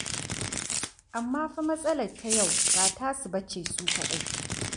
Amma fa matsalar ta yau ba tasu ba ce su kaɗai.